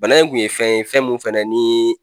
Bana in kun ye fɛn ye fɛn min fana ni